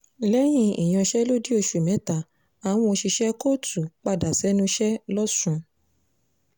lẹ́yìn ìyanṣẹ́lódì oṣù mẹ́ta àwọn òṣìṣẹ́ kóòtù padà sẹ́nu iṣẹ́ lọ́sùn